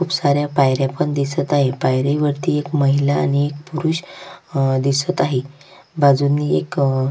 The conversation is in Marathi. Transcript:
खुप साऱ्या पायऱ्या पण दिसत आहेत पायरी वरती एक महिला आणि एक पुरुष अह दिसत आहेत बाजूनी एक--